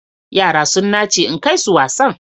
Yara sun nace in kai su wasan.